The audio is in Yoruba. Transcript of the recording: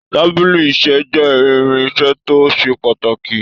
Tábìlì iṣẹ́ jẹ́ irin iṣẹ́ tó ṣe pàtàkì.